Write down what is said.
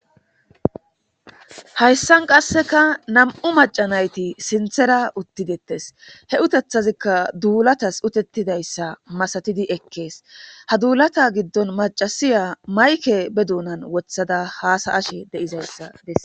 Hayssan qasseka nam7u macanayti sinthera uttidettes he utethazikka duulatas utettidayssa masatidi ekkees ha duulata giddon macasiya mayke be duunan wothada haasa ashe de7izayssa desse.